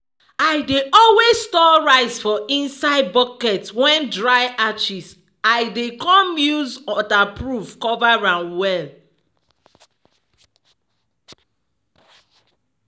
i dey always store rice for inside bucket wen dry ashes l dey com use waterproof cover am well.